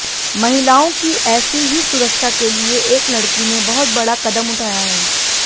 महिलाओं की ऐसी ही सुरक्षा के लिए एक लड़की ने बहुत बड़ा कदम उठाया है